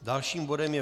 Dalším bodem je